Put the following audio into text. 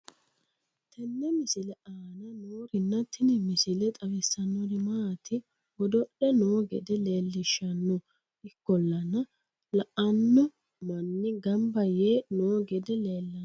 tenne misile aana noorina tini misile xawissannori maati g odo'le noo gede leellishshanno ikkollana la'anno manni gamba yee noo gede leellanno